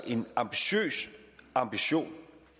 en ambitiøs ambition